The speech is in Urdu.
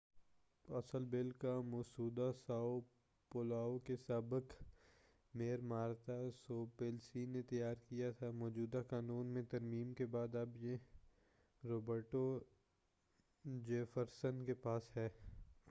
اصل بل کا مسودہ ساؤ پاؤلو کے سابق میئر مارتا سوپلیسی نے تیار کیا تھا مجوزہ قانون میں ترمیم کے بعد اب یہ روبرٹو جیفرسن کے پاس ہے